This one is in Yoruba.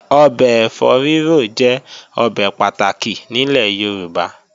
Ọbẹ̀ ẹ̀fọ́ rírò jẹ́ ọbẹ̀ pàtàkì nílẹ̀ Yorùbá